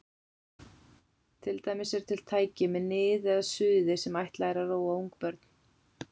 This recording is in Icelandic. Til dæmis eru til tæki með nið eða suði sem ætlað er að róa ungbörn.